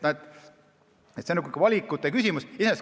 See on valikute küsimus.